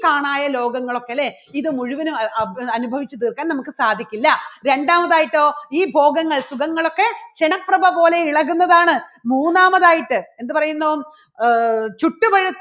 കാണായ ലോകങ്ങളൊക്കെ അല്ലേ ഇത് മുഴുവനും അ~അഭ്~അനുഭവിച്ചു തീർക്കാൻ നമുക്ക് സാധിക്കില്ല. രണ്ടാമതായിട്ടോ ഈ ഭോഗങ്ങൾ സുഖങ്ങളൊക്കെ ക്ഷണപ്രഭ പോലെ ഇളകുന്നതാണ് മൂന്നാമതായിട്ട് എന്തു പറയുന്നു ആഹ് ചുട്ടു പഴുത്ത